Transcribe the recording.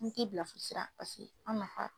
An mi t'i bila fo sira paseke an nafa